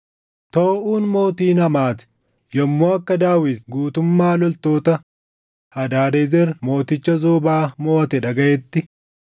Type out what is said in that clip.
Tooʼuun mootiin Hamaati yommuu akka Daawit guutummaa loltoota Hadaadezer mooticha Zoobaa moʼate dhagaʼetti,